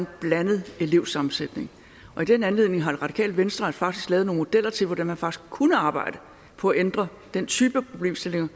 en blandet elevsammensætning og i den anledning har det radikale venstre faktisk lavet nogle modeller til hvordan man kunne arbejde på at ændre den type problemstillinger